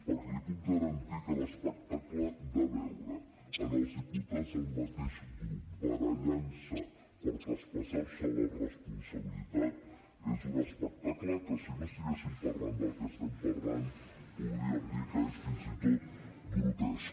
perquè li puc garantir que l’espectacle de veure els diputats del mateix grup barallant se per traspassar se la responsabilitat és un espectacle que si no estiguéssim parlant del que estem parlant podríem dir que és fins i tot grotesc